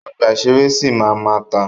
Ọgbà ìṣẹ̀rẹ́ sì máa ma tà.